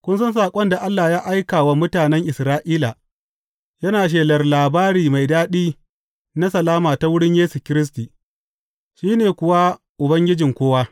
Kun san saƙon da Allah ya aika wa mutanen Isra’ila, yana shelar labari mai daɗi na salama ta wurin Yesu Kiristi, shi ne kuwa Ubangijin kowa.